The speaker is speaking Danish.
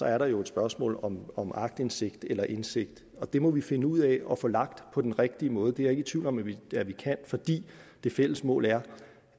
er der jo et spørgsmål om om aktindsigt eller indsigt det må vi finde ud af at få lagt på den rigtige måde det er jeg ikke i tvivl om at vi kan fordi det fælles mål er